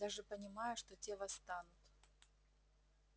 даже понимая что те восстанут